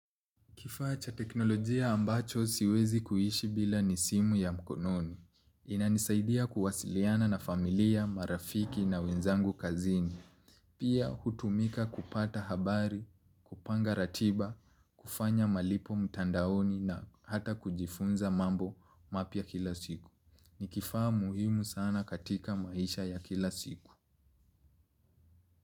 Kifaa cha teknolojia ambacho siwezi kuishi bila ni simu ya mkononi. Inanisaidia kuwasiliana na familia, marafiki na wenzangu kazini. Pia hutumika kupata habari, kupanga ratiba, kufanya malipo mtandaoni na hata kujifunza mambo mapya kila siku. Ni kifaa muhimu sana katika maisha ya kila siku.